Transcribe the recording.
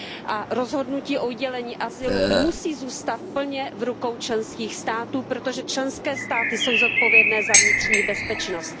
A rozhodnutí o udělení azylu musí zůstat plně v rukou členských států, protože členské státy jsou zodpovědné za vnitřní bezpečnost.